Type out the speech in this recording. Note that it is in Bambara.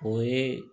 O ye